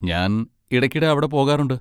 ഞാൻ ഇടയ്ക്കിടെ അവിടെ പോകാറുണ്ട്.